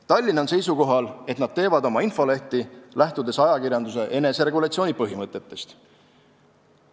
Tallinn on seisukohal, et nad teevad oma infolehti, lähtudes ajakirjanduse eneseregulatsiooni põhimõtetest.